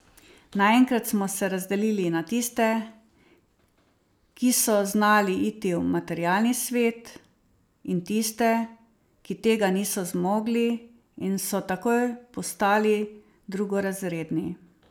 Naenkrat smo se razdelili na tiste, ki so znali iti v materialni svet, in tiste, ki tega niso zmogli in so takoj postali drugorazredni.